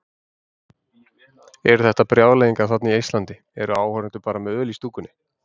Eru þetta brjálæðingar þarna í Eistlandi, eru áhorfendur bara með öl í stúkunni?